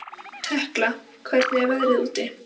Tekla, hvernig er veðrið úti?